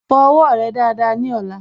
Fọ owó rẹ dáadáa ní ọ̀la